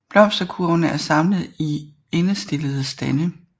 Blomsterkurvene er samlet i endestillede stande